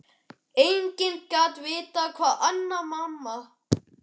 Enginn gat vitað það nema mamma.